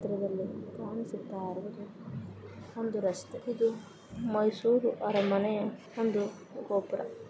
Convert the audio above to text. ಈ ಚಿತ್ರದಲ್ಲಿ ಕಾಣಿಸುತ್ತಾ ಇರೋದು ಒಂದು ರಸ್ತೆ. ಇದು ಮೈಸೂರು ಅರಮನೆಯ--